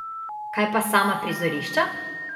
Kaj pa sama prizorišča?